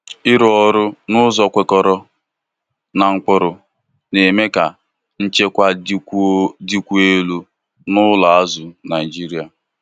ịrụ ọrụ n'ụzọ kwekọrọ na ụkpụrụ na-eme ka nchekwa dịkwuo dịkwuo elu na ụlọ azụ Naijiria.